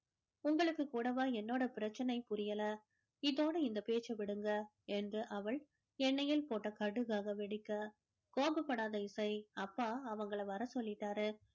உங்களுக்கு கூடவா என்னோட பிரச்சனை புரியல இதோட இந்த பேச்சை விடுங்க என்று அவள் எண்ணெயில் போட்ட கடுகாக வெடிக்க கோபப்படாத இசை அப்பா அவங்களை வர சொல்லிட்டாரு